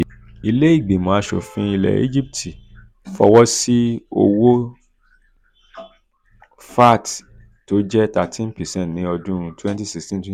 ilé ìgbìmọ̀ aṣòfin ilẹ̀ egypt fọwọ́ sí owó vat tó jẹ́ thirteen percent ní ọdún twenty sixteen twenty